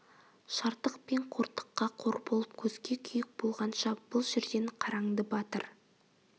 шартық пен қортыққа қор болып көзге күйік болғанша бұл жерден қараңды батыр